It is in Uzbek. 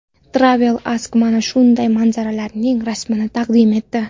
Travel Ask mana shunday manzaralarning rasmini taqdim etdi.